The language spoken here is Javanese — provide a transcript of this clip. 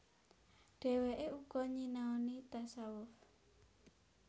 Dhèwèké uga nyinaoni tasawuf